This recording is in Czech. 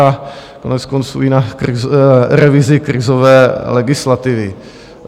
a koneckonců i na revizi krizové legislativy.